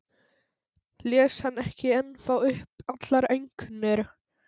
Les hann ekki ennþá upp allar einkunnir?